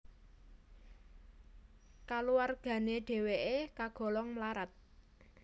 Kulawargane dheweke kagolong mlarat